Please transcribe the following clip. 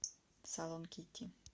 салон кики